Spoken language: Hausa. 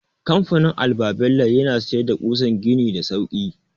Kamfanin alba-bello yana siyar da ƙusan gini da sauki.